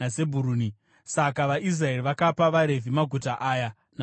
Saka vaIsraeri vakapa vaRevhi maguta aya namafuro awo.